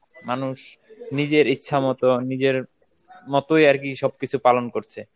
মানুষ নিজের ইচ্ছা মতন, নিজের মতোই আরকি সবকিছু পালন করছে.